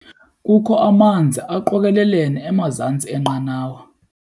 Kukho amanzi aqokelelene emazantsi enqanawa.